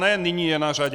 Ne "nyní je na řadě".